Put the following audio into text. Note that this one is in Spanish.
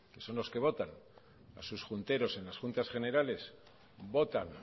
a sus junteros en las juntas generales votan